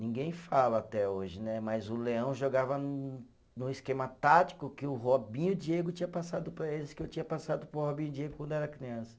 Ninguém fala até hoje né, mas o Leão jogava no esquema tático que o Robinho e Diego tinha passado para eles, que eu tinha passado para o Robinho e Diego quando era criança.